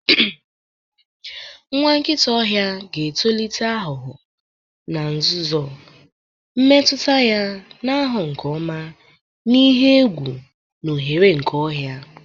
Nwa nkịta ọhịa ga-etolite aghụghọ na nzuzo, mmetụta ya na-aghọ nke ọma na ihe egwu na ohere nke ọhịa.